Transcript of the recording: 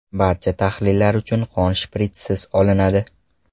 Barcha tahlillar uchun qon shpritssiz olinadi.